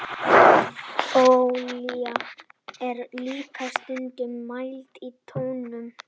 olía er líka stundum mæld í tonnum